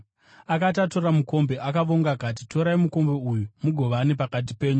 Akati atora mukombe, akavonga akati, “Torai mukombe uyu mugovane pakati penyu.